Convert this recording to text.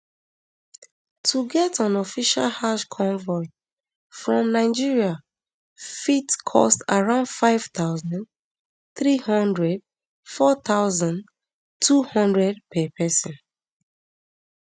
to get on official hajj convoy from nigeria fit cost around five thousand, three hundred four thousand, two hundred per pesin